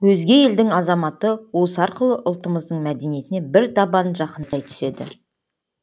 өзге елдің азаматы осы арқылы ұлтымыздың мәдениетіне бір табан жақындай түседі